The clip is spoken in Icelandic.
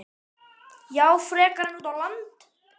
María: Já, frekar en út á land?